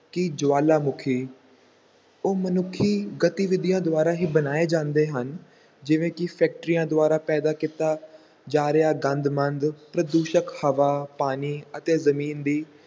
ਕਿ ਜਵਾਲਾਮੁਖੀ, ਉਹ ਮਨੁੱਖੀ ਗਤੀਵਿਧੀਆਂ ਦੁਆਰਾ ਹੀ ਬਣਾਏ ਜਾਂਦੇ ਹਨ, ਜਿਵੇਂ ਕਿ ਫੈਕਟਰੀਆਂ ਦੁਆਰਾ ਪੈਦਾ ਕੀਤਾ ਜਾ ਰਿਹਾ ਗੰਦ ਮੰਦ, ਪ੍ਰਦੂਸ਼ਕ ਹਵਾ, ਪਾਣੀ ਅਤੇ ਜ਼ਮੀਨ ਦੀ